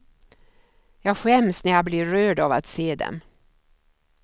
Jag skäms när jag blir rörd av att se dem.